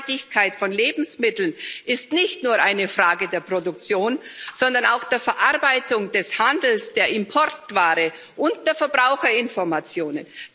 Nachhaltigkeit von Lebensmitteln ist nicht nur eine Frage der Produktion, sondern auch der Verarbeitung, des Handels, der Importware und der Verbraucherinformation.